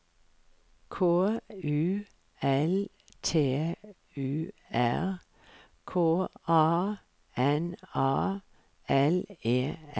K U L T U R K A N A L E N